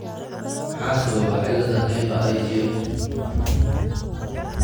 Maxaa sababa cilada hyper IgM ?